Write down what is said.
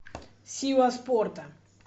сила спорта